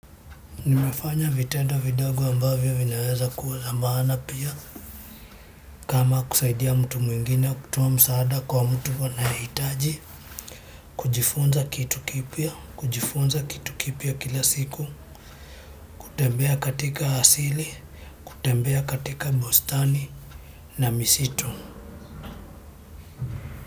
Nimefanya vitendo vidogo ambavyo vinaweza kuwa za maana pia kama kusaidia mtu mwingine kutoa msaada kwa mtu anayehitaji kujifunza kitu kipya, kujifunza kitu kipya kila siku, kutembea katika asili, kutembea katika bustani na misitu.